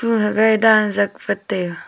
aga dan zat wat taiga.